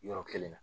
Yɔrɔ kelen na